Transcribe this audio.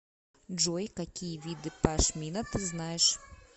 джой какие виды пашмина ты знаешь